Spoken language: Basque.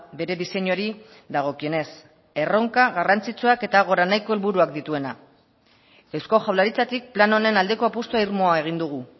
bere diseinuari dagokienez erronka garrantzitsuak eta helburuak dituena eusko jaurlaritzatik plan honen apustu irmoa egin dugu